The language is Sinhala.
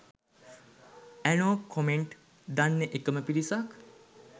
ඇනෝ කොමෙන්ට් දන්නේ එකම පිරිසක්